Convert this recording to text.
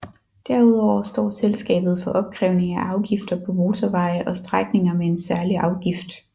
Derudover står selskabet for opkrævning af afgifter på motorveje og strækninger med en særlig afgift